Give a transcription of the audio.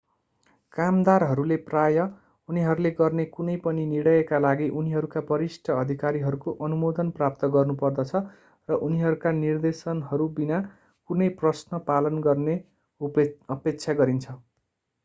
कामदारहरूले प्रायः उनीहरूले गर्ने कुनै पनि निर्णयका लागि उनीहरूका वरिष्ठ अधिकारीहरूको अनुमोदन प्राप्त गर्नुपर्दछ र उनीहरूका निर्देशनहरू बिना कुनै प्रश्न पालन गर्ने अपेक्षा गरिन्छ